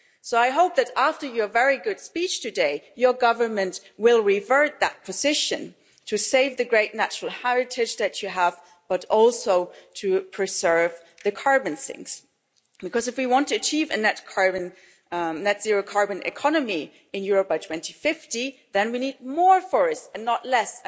So I hope that after your very good speech today, your government will reverse that position to save the great natural heritage that you have, but also to preserve the carbon sinks, because if we wanted to achieve a net zero carbon economy in Europe by 2050 then we need more forests and not less.